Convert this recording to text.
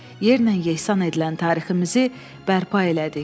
Yerlə-yesan edilən tariximizi bərpa elədik.